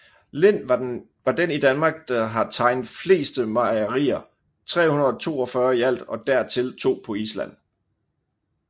Lind var den i Danmark der har tegnet fleste mejerier 342 i alt og dertil to på Island